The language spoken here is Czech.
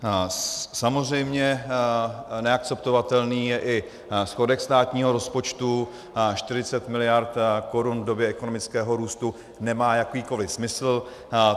Samozřejmě neakceptovatelný je i schodek státního rozpočtu, 40 miliard korun v době ekonomického růstu nemá jakýkoli smysl.